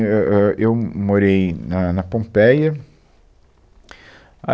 Ãh, ãh, eu morei na na Pompeia. A